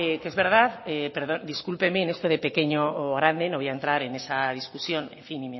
que es verdad pero discúlpeme en esto de pequeño o grande no voy a entrar en esa discusión y